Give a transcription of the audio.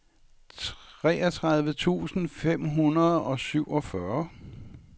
treogtredive tusind fem hundrede og syvogfyrre